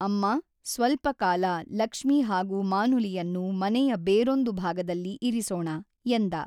ಅಮ್ಮಾ, ಸ್ವಲ್ಪ ಕಾಲ, ಲಕ್ಷ್ಮೀ ಹಾಗೂ ಮಾನುಲಿಯನ್ನು ಮನೆಯ ಬೇರೊಂದು ಭಾಗದಲ್ಲಿ ಇರಿಸೋಣ, ಎಂದ.